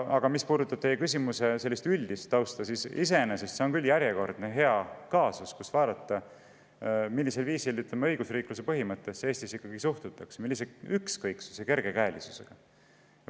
Aga mis puudutab teie küsimuse üldist tausta, siis iseenesest on see järjekordne hea kaasus, mis võimaldab vaadata, millisel viisil Eestis õigusriikluse põhimõttesse suhtutakse, millise ükskõiksuse ja kergekäelisusega.